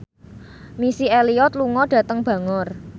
Missy Elliott lunga dhateng Bangor